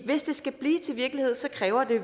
hvis det skal blive til virkelighed kræver det